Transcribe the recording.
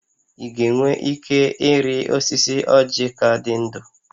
Ị ga-enwe ike ịrị osisi ọ́jị̀ ka dị ndụ?